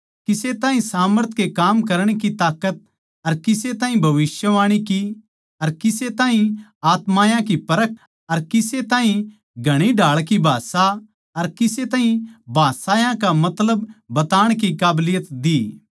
किसे ताहीं सामर्थ कै काम करण की ताकत अर किसे ताहीं भविष्यवाणी की अर किसे ताहीं आत्मायाँ की परख अर किसे ताहीं घणी ढाळ की भाषा अर किसे ताहीं भाषायां का मतलब बताणा की काबलियत दी